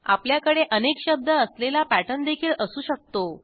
आपल्याकडे अनेक शब्द असलेला पॅटर्न देखील असू शकतो